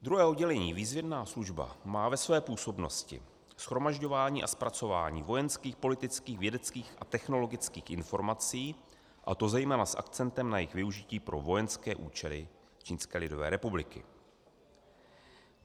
Druhé oddělení, výzvědná služba, má ve své působnosti shromažďování a zpracování vojenských, politických, vědeckých a technologických informací, a to zejména s akcentem na jejich využití pro vojenské účely Čínské lidové republiky.